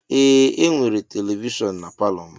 Ee e nwere televishon n'palo m.